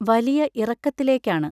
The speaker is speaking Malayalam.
വലിയ ഇറക്കത്തിലേക്കാണ്.